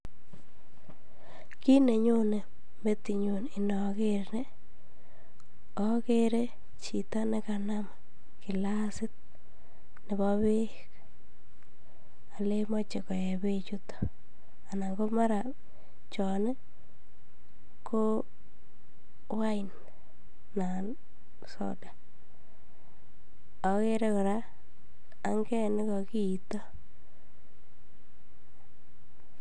Kiit nenyone metinyun inoker nii okere chito nekanam kiklasit nebo beek oleen moche koyee bechuton anan komara chon koo wine anan soda, okere kora anget nekokiito.